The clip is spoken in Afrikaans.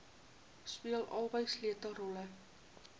speel albei sleutelrolle